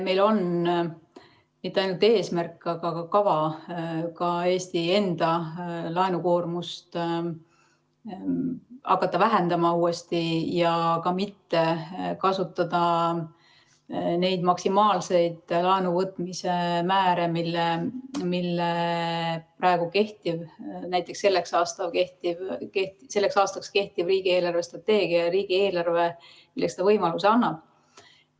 Meil on mitte ainult eesmärk, vaid ka kava hakata Eesti enda laenukoormust uuesti vähendama ja mitte kasutada neid maksimaalseid laenuvõtmise määrasid, milleks praegu kehtiv, näiteks selleks aastaks kehtiv riigi eelarvestrateegia ja riigieelarve võimaluse annab.